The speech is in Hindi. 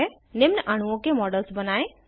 निम्न अणुओं के मॉडल्स बनायें